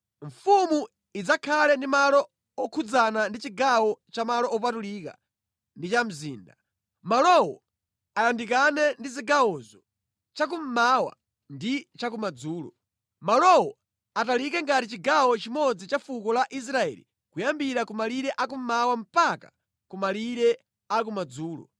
“ ‘Mfumu idzakhale ndi malo okhudzana ndi chigawo cha malo opatulika ndi cha mzinda. Malowo ayandikane ndi zigawozo chakummawa ndi chakumadzulo. Malowo atalike ngati chigawo chimodzi cha fuko la Israeli kuyambira ku malire akummawa mpaka ku malire akumadzulo.